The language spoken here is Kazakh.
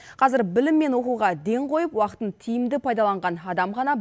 қазір білім мен оқуға ден қойып уақытын тиімді пайдаланған адам ғана